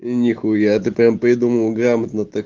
нихуя ты прямо придумал грамотно так